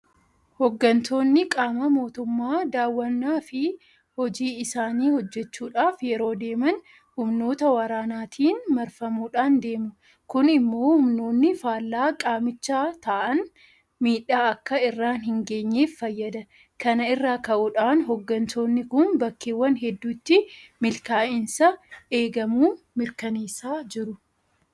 Hooggantoonni qaama mootummaa daawwannaafi hojii isaanii hojjechuudhaaf yeroo deeman humnoota waraanaatiin marfamuudhaan deemu. Kun immoo humnoonni faallaa qaamichaa ta'an miidhaa akka irraan hingeenyeef fayyada. Kana irraa ka'uudhaan hooggantoonni kun bakkeewwan hedduutti milkaa'insa eegamu mirkaneessaa jiru.